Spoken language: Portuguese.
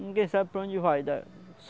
Ninguém sabe para a onde vai da